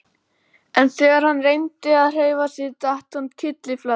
En þegar hann reyndi að hreyfa sig datt hann kylliflatur.